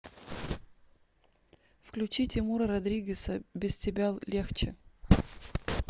включи тимура родригеза без тебя легче